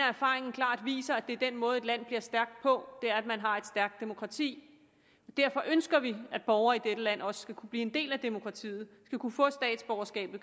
erfaringen klart viser at det er den måde et land bliver stærkt på at man har et stærkt demokrati derfor ønsker vi at borgere i dette land også skal kunne blive en del af demokratiet skal kunne få statsborgerskab